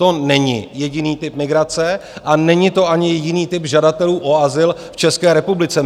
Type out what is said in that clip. To není jediný typ migrace a není to ani jiný typ žadatelů o azyl v České republice.